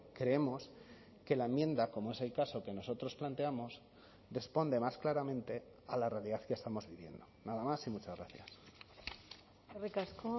creemos que la enmienda como es el caso que nosotros planteamos responde más claramente a la realidad que estamos viviendo nada más y muchas gracias eskerrik asko